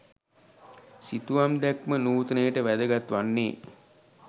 සිතුවම් දැක්ම නූතනයට වැදගත් වන්නේ